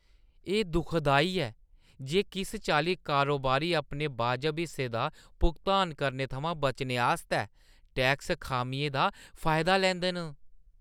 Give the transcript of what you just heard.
एह् दुखदाई ऐ जे किस चाल्ली कारोबारी अपने वाजब हिस्से दा भुगतान करने थमां बचने आस्तै टैक्स खामियें दा फायदा लैंदे न।